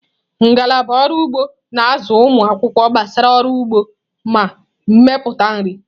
Ngalaba ọrụ ugbo na-azụ ụmụ akwụkwọ gbasara ọrụ ugbo na mmepụta nri.